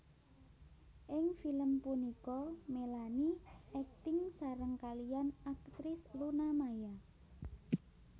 Ing film punika Melanie akting sareng kaliyan aktris Luna Maya